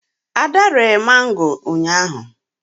ada ree mango ụnyahụ